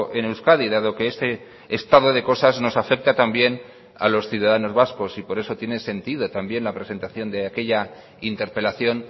en euskadi dado que este estado de cosas nos afecta también a los ciudadanos vascos y por eso tiene sentido también la presentación de aquella interpelación